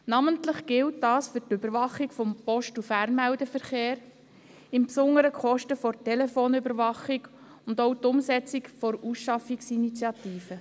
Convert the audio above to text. Namentlich gilt dies für die Überwachung des Post- und Fernmeldeverkehrs, insbesondere für die Kosten für die Telefonüberwachung, und auch für die Umsetzung der Ausschaffungsinitiative.